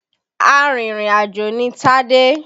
Arìnrìn àjò ni Tádé.